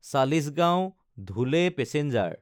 চালিচগাঁও–ধুলে passenger